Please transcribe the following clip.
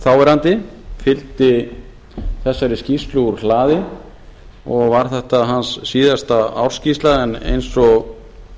þáverandi fylgdi þessari skýrslu úr hlaði og var þetta hans síðasta ársskýrsla en eins og